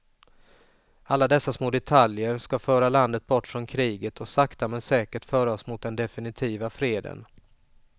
Alla dessa små detaljer ska föra landet bort från kriget och sakta men säkert föra oss mot den definitiva freden.